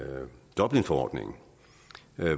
dublinforordningen